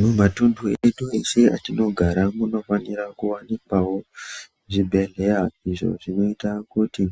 Mumatundu edu eshe atinogara munofanirwa kuwanikwawo zvibhedhleya izvi zvinoita kuti